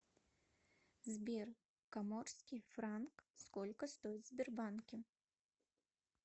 сбер коморский франк сколько стоит в сбербанке